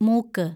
മൂക്ക്